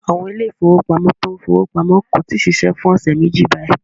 Àwọn ilé ìfowópamọ́ tó ń fi owó pamọ́ kò tí ì ṣiṣẹ́ fún ọ̀sẹ̀ méjì báyìí.